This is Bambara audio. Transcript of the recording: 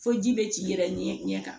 Fo ji bɛ t'i yɛrɛ ɲɛ kan